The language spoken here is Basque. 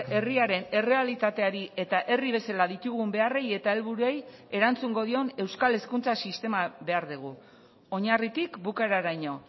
herriaren errealitateari eta herri bezala ditugun beharrei eta helburuei erantzungo dion euskal hezkuntza sistema behar dugu oinarritik bukaeraraino